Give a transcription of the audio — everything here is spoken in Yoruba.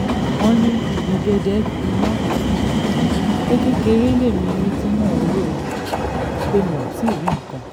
wọ́n ní gbẹgẹdẹ gbiná um pé kékeré lèmi rí tí mo rò um pé mo rí nǹkan